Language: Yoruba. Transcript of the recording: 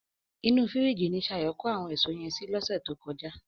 Inú fìríjìì ni Ṣayọ̀ kó àwọn èso yẹn sí lọ́sẹ̀ tó kọjá.